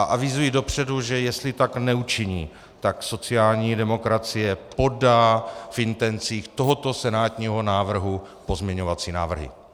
A avizuji dopředu, že jestli tak neučiní, tak sociální demokracie podá v intencích tohoto senátního návrhu pozměňovací návrhy.